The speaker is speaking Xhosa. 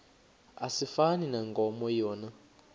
asifani nankomo yona